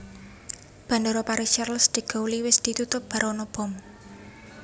Bandara Paris Charles de Gaulle wis ditutup bar ono bom